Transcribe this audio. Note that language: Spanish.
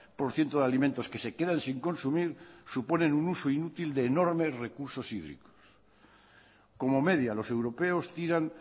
por ciento de alimentos que se quedan sin consumir suponen un uso inútil de enormes recursos hídricos como media los europeos tiran